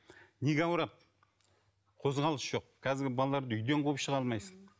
неге ауырады қозғалыс жоқ қазіргі балаларды үйден қуып шыға алмайсың